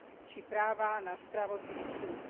či práva na spravodlivý súd.